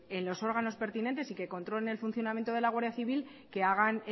en los órganos pertinentes y que controle el funcionamiento de la guardia civil que hagan